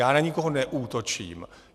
Já na nikoho neútočím.